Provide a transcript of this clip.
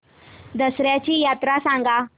दसर्याची यात्रा सांगा